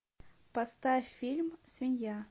поставь фильм свинья